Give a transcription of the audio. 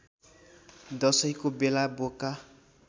दशैँको बेला बोका